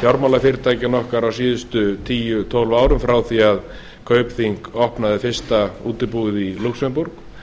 fjármálafyrirtækjanna okkar á síðustu tíu til tólf árum frá því að kaupþing opnaði fyrsta útibúið í lúxemborg